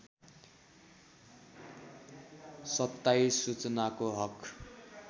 २७ सूचनाको हक